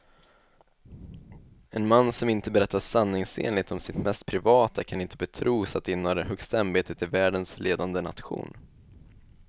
En man som inte berättar sanningsenligt om sitt mest privata kan inte betros att inneha det högsta ämbetet i världens ledande nation.